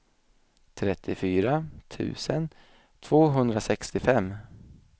trettiofyra tusen tvåhundrasextiofem